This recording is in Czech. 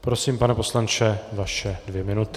Prosím, pane poslanče, vaše dvě minuty.